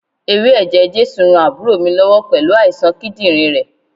Ewé ẹ̀jẹ̀ Jésù ran àbúrò mi lọ́wọ́ pẹ̀lú àìsàn kídírìn rẹ̀.